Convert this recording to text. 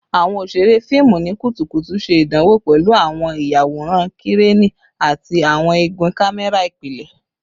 Awọn oṣere fiimu ni kutukutu ṣe idanwo pẹlu awọn iyaworan Kireni ati awọn igun kamẹra ipilẹ